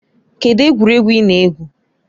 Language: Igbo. Kedụ egwuregwu ị na-egwu?